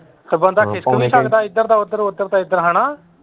ਤੇ ਬੰਦਾ ਖਿਸਕ ਵੀ ਸਕਦਾ ਇੱਧਰ ਦਾ ਉੱਧਰ ਉੱਧਰ ਦਾ ਇੱਧਰ ਹਨਾਂ।